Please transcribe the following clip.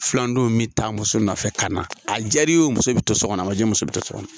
Filandenw bɛ taa muso nɔfɛ ka na a jaar'i ye o muso bɛ to so kɔnɔ a man jaa i ye muso bɛ to so kɔnɔ.